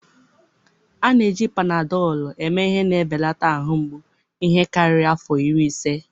A na-eji Panadọlụ eme ihe na-ebelata ahụ mgbu ihe karịrị afọ iri ise.